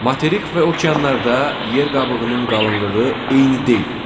Materik və okeanlarda yer qabığının qalınlığı eyni deyil.